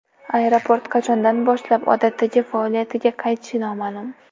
Aeroport qachondan boshlab odatdagi faoliyatiga qaytishi noma’lum.